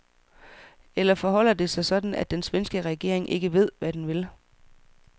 Eller forholder det sig sådan, at den svenske regering ikke ved, hvad en vil?